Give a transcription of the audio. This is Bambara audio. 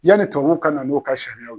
Yani tubabu ka na n'o ka sariyaw.